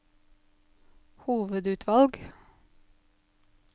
hovedutvalg